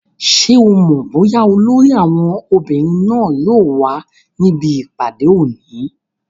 Ṣé o mọ̀ bóyá olórí àwọn obìnrin náà yóò wà níbi ìpàdé òní?